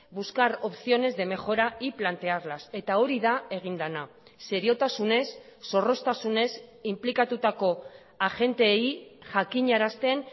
buscar opciones de mejora y plantearlas eta hori da egin dena seriotasunez zorroztasunez inplikatutako agenteei jakinarazten